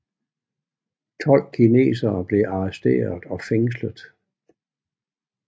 Tolv kinesere blev arresteret og fængslet